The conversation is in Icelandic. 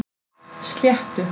Sléttu